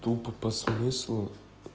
тупо по смыслу